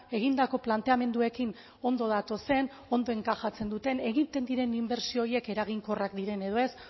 egindako planteamenduekin ondo datozen ondo enkajatzen duten egiten diren inbertsio horiek eraginkorrak diren edo ez